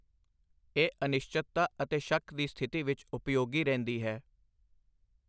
ਇਹ ਅਨਿਸ਼ਚਤਤਾ ਅਤੇ ਸ਼ੱਕ ਦੀ ਸਥਿਤੀ ਵਿੱਚ ਉਪਯੋਗੀ ਰਹਿੰਦੀ ਹੈ।